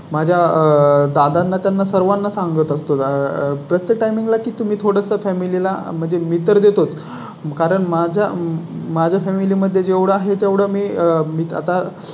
माझ्या दादांना त्यांना सर्वांना सांगत असतो. तसा प्रत्येक Time ला की तुम्ही थोड सं Family ला म्हणजे मी तर देतोच. कारण माझ्या माझ्या Family मध्ये जेवढं आहे तेवढं मी मी आता